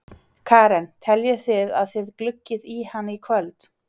Karen: Teljið þið að þið gluggið í hann í kvöld?